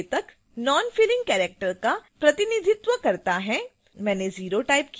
दूसरा संकेतक nonfilling character का प्रतिनिधित्व करता है